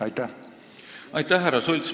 Aitäh, härra Sults!